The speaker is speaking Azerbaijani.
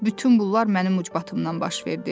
Bütün bunlar mənim ucbatımdan baş verdi.